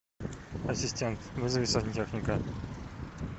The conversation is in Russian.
ассистент вызови сантехника